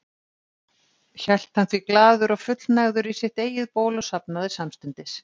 Hélt hann því glaður og fullnægður í sitt eigið ból og sofnaði samstundis.